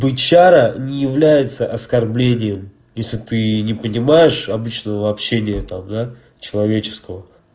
бычара не является оскорблением если ты не понимаешь обычного общения там да человеческого